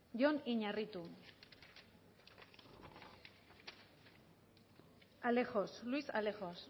jon iñarritu alejos luis alejos